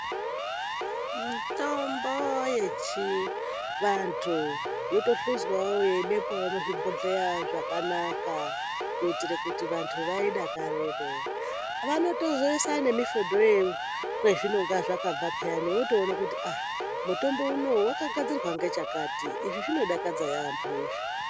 Tombo yechivantu yotohluzwawo yeibekwawo muzvibhodheya zvakanaka kuitire kuti vantu vaidakarire vanotozoise ngemifodho ye kwezvinonga zvakabva payani votoona kuti aa mutombo unoyu wakagadzirwa ngechakati izvi zvinodakadza yaambo izvi.